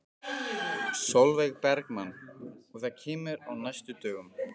Sólveig Bergmann: Og það kemur á næstu dögum?